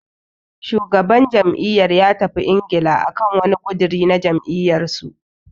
Shugaban jam'iyyar ya tafi Ingila akan wani ƙudiri na jam'iyyar su.